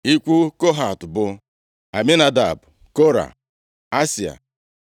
Ikwu Kohat bụ Aminadab, Kora, Asịa,